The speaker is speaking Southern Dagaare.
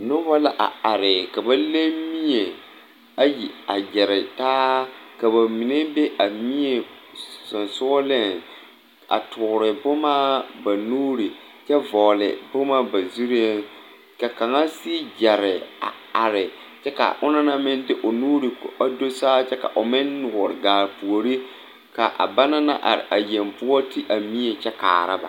Nobɔ gyamaa gyamaa la ngmaa villi a nobɔ na naŋ are na ba mine su la kparepeɛle ka ba mine su kparesɔglɔ ba mine aŋ la nimikyaane kyɛ moɔ nɔmoɔnaa bonzeɛ ba mine yuori la ba noɔɛ ba mine vɔgle la zupile ka ba mine a meŋ zɛge ba nu saazu.